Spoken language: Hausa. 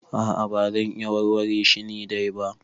A'a ba zan iya warware shi ni dai ba.